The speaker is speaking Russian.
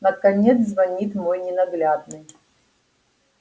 наконец звонит мой ненаглядный